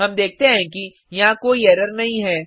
हम देखते हैं कि यहाँ कोई एरर नहीं है